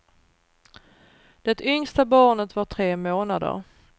Det yngsta barnet var tre månader.